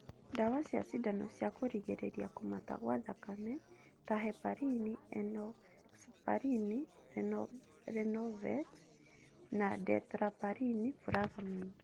Ndawa cia cindano cia kurigiriria kũmata gwa thakameni ta heparin, enoxaparin (Lovenox), na dalteparin (Fragmin)